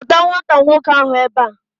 Kpọta nwata nwoke ahu ebe a!